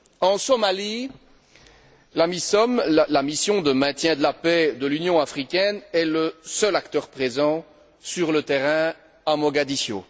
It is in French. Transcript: En Somalie, l'AMISOM, la mission de maintien de la paix de l'Union africaine, est le seul acteur présent sur le terrain à Mogadiscio.